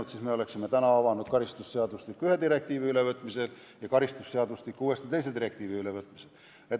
Sellisel juhul oleksime täna avanud karistusseadustiku ühe direktiivi ülevõtmiseks ja karistusseadustiku teise direktiivi ülevõtmiseks.